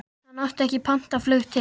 Hann átti ekki pantað flug til